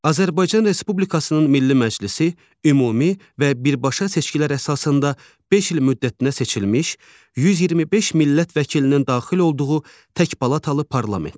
Azərbaycan Respublikasının Milli Məclisi ümumi, bərabər və birbaşa seçkilər əsasında 5 il müddətinə seçilmiş 125 millət vəkilinin daxil olduğu təkpalatalı parlamentdir.